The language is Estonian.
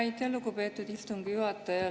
Aitäh, lugupeetud istungi juhataja!